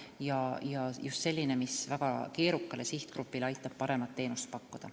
See peakski olema selline, mis aitab väga keerukale sihtgrupile paremat teenust pakkuda.